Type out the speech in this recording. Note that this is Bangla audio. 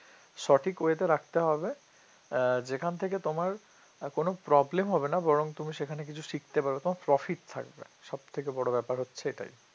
সঠিক way তে রাখতে হবে আহ যেখান থেকে তোমার কোন problem হবে না বরং তুমি সেখানে কিছু শিখতে পারবে তোমার্ profit থাকবে সব থেকে বড় ব্যাপার হচ্ছে এটাই